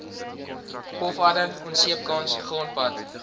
pofadder onseepkans grondpad